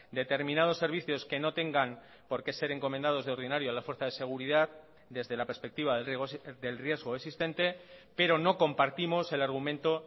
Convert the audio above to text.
determinados servicios que no tengan por qué ser encomendados de ordinario la fuerza de seguridad desde la perspectiva del riesgo existente pero no compartimos el argumento